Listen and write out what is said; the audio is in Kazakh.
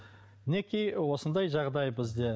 мінекей осындай жағдай бізде